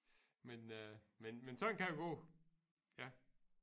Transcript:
Men øh men men sådan kan det gå ja